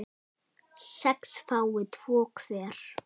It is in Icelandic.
sex fái tvo hver